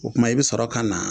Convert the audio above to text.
o tuma i be sɔrɔ kana